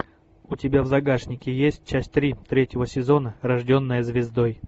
у тебя в загашнике есть часть три третьего сезона рожденная звездой